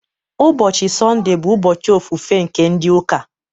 Ụbọchị Sọnde bụ ụbọchị ofufe nke ndị ụka